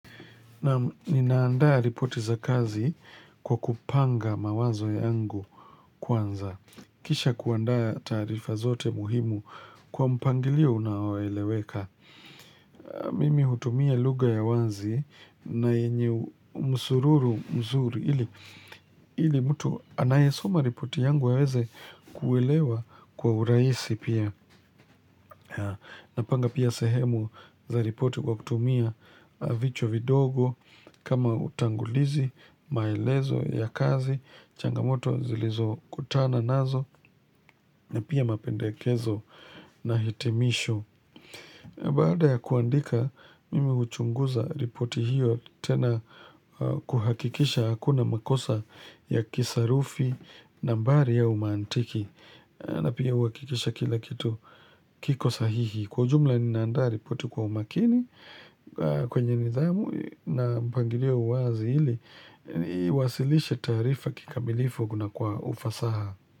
Naam ninaandaa ripoti za kazi kwa kupanga mawazo yangu kwanza. Kisha kuandaa taarifa zote muhimu kwa mpangilio unaoeleweka. Mimi hutumia lugha ya wazi na yenye msururu mzuri ili mtu anayesoma ripoti yangu aweze kuelewa kwa uraisi pia. Napanga pia sehemu za ripoti kwa kutumia vichwa vidogo kama utangulizi, maelezo ya kazi, changamoto zilizokutana nazo na pia mapendekezo na hitimisho. Baada ya kuandika, mimi huchunguza ripoti hiyo tena kuhakikisha hakuna makosa ya kisarufi nambari au mantiki na pia uhakikisha kila kitu kiko sahihi. Kwa ujumla ninaandaa ripoti kwa umakini kwenye nidhamu na mpangilio uwazi ili, iwasilishe taarifa kikamilifu kuna kwa ufasaha.